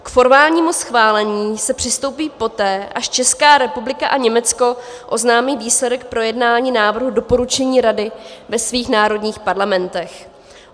K formálnímu schválení se přistoupí poté, až Česká republika a Německo oznámí výsledek projednání návrhu doporučení Rady ve svých národních parlamentech.